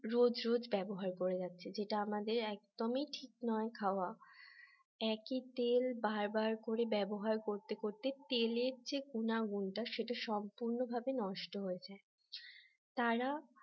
রোজ রোজ ব্যবহার করে যাচ্ছে যেটা আমাদের একদমই ঠিক নয় খাওয়া একই তেল বারবার করে ব্যবহার করতে করতে তেলের যে গুনাগুনটা সেটা সম্পূর্ণ ভাবে নষ্ট হয়ে যায় তারা